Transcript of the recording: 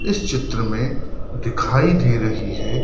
इस चित्र में दिखाई दे रही है।